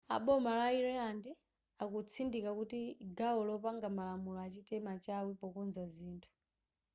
a boma la ireland akutsindika kuti gawo lopanga malamulo achite machawi pokonza zithu